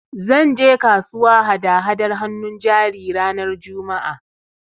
Zan je kasuwa hada-hadar hannun jari ranar Juma'a